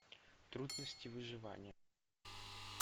трудности выживания